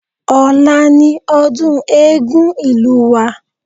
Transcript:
Ọ̀la ni ọdún Eégún ìlú wa